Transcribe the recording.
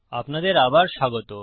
আপনাদের আবার স্বাগত